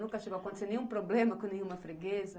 Nunca chegou a acontecer nenhum problema com nenhuma freguesa?